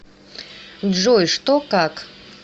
джой что как